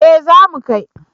Eh za mu kai